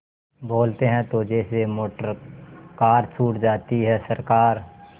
बोलते हैं तो जैसे मोटरकार छूट जाती है सरकार